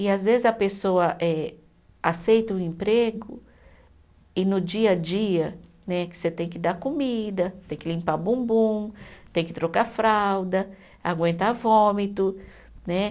E às vezes a pessoa eh aceita o emprego e no dia a dia né, que você tem que dar comida, tem que limpar bumbum, tem que trocar fralda, aguentar vômito né.